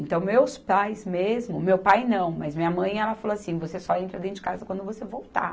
Então, meus pais mesmo, meu pai não, mas minha mãe, ela falou assim, você só entra dentro de casa quando você voltar.